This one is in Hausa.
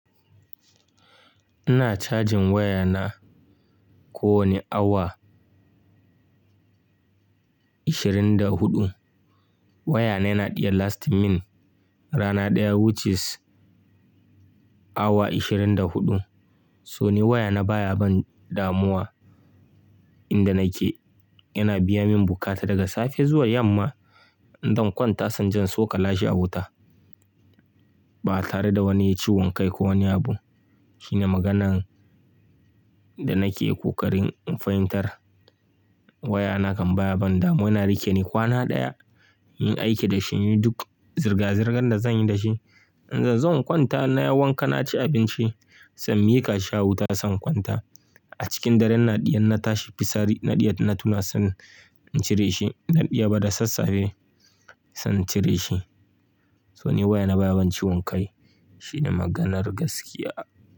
Ina cajin waya na ko wani awa 24. Waya na yana iya lasting min rana ɗaya which is awa 24. So ni waya na baya ban damuwa inda nake. Yana biya min bukata daga safe zuwa yamma. In zan kwanta zan jan soko lashi a wuta ba tare da wani ciwon kai ko wani abu. Shine maganan da nake ƙoƙarin in fahimtar. Wayana kan baya ban damuwa. Na rike ne kwana ɗaya yin aiki da shi, yin duk zirga-zirgan da zan yi da shi. In zan kwanta na yi wanka, na ci abinci, san mika shi a wuta zan kwanta. A cikin dare na ɗiya na tashi fisari na ɗiya na tuna zan cire shi. Na ɗiya bada sassafe zan cire shi. So ni waya na baya ban ciwon kai shine maganar gaskiya.